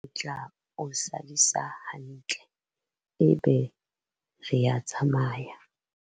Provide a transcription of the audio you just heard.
re tla o sadisa hantle ebe re a tsamaya